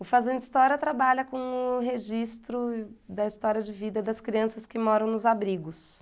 O Fazenda História trabalha com o registro da história de vida das crianças que moram nos abrigos.